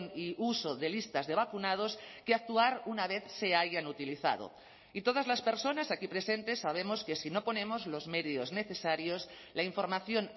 y uso de listas de vacunados que actuar una vez se hayan utilizado y todas las personas aquí presentes sabemos que si no ponemos los medios necesarios la información